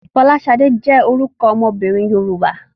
Fọláṣadé jẹ́ orúkọ ọmọbìnrin Yorùbá.